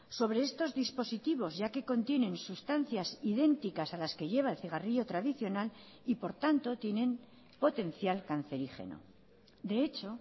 sobre estos dispositivos ya que contienen sustancias idénticas a las que lleva el cigarrillo tradicional y por tanto tienen potencial cancerígeno de hecho